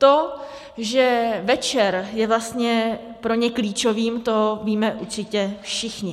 To, že večer je vlastně pro ně klíčovým, to víme určitě všichni.